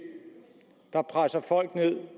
der presser folk ned